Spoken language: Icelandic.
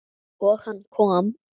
Og hann kom.